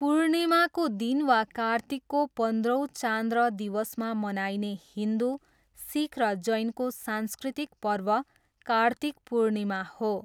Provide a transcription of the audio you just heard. पूर्णिमाको दिन वा कार्तिकको पन्ध्रौँ चान्द्र दिवसमा मनाइने हिन्दु, सिख र जैनको सांस्कृतिक पर्व कार्तिक पूर्णिमा हो।